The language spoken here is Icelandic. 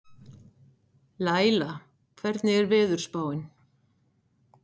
Laíla, hvernig er veðurspáin?